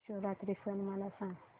महाशिवरात्री सण मला सांग